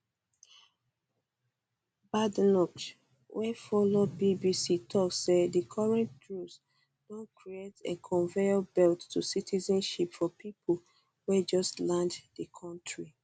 badenoch wey follow bbc tok say di current rules don create a conveyor belt to citizenship for pipo wey just land di kontri